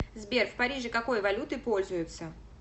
сбер в париже какой валютой пользуются